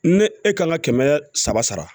Ne e kan ka kɛmɛ saba sara